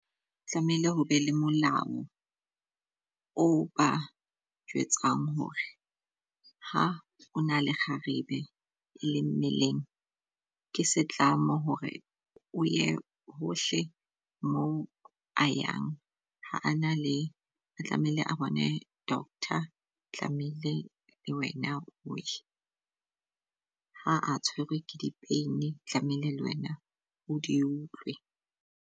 Tlamehile ho be le molao o ba jwetsang hore ha o na le kgarebe e le mmeleng, ke setlamo hore o ye hohle mo a yang. Ha a na le a tlamehile a bone doctor, tlamehile le wena oye. Ja a tshwerwe ke di-pain tlamehile le wena o di utlwe.